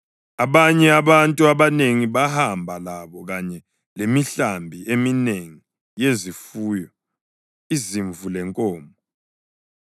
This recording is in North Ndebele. Abanye abantu abanengi bahamba labo kanye lemihlambi eminengi yezifuyo, izimvu lenkomo.